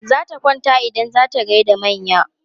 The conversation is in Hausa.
Zata kwanta idan za ta gai da manya.